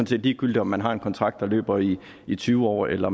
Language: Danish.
set ligegyldigt om man har en kontrakt der løber i i tyve år eller